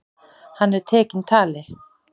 Hann er tekinn tali.